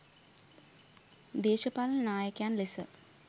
දේශපාලන නායකයන් ලෙස